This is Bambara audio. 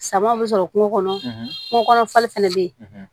Samaw bɛ sɔrɔ kungo kɔnɔ kungo kɔnɔ fali fɛnɛ be yen